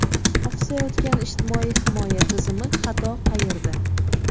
Oqsayotgan ijtimoiy himoya tizimi: xato qayerda?.